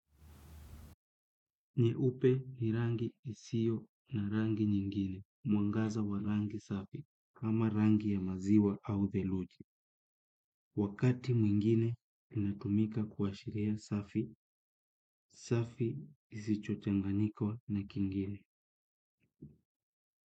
Nyeupe ni rangi isiyo na rangi nyingine, mwangaza wa rangi safi, kama rangi ya maziwa au theluji. Wakati mwingine, inatumika kuashiria safi, safi isicho changanika na kingine.